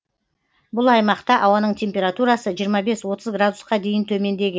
бұл аймақта ауаның температурасы жиырма бес отыз градусқа дейін төмендеген